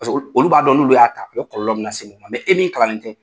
Paseke olu b'a dɔn n'olu y'a ta , o kɔlɔlɔ bɛna se u ma , mɛ e min kalanen tɛ